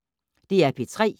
DR P3